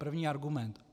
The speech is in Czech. První argument.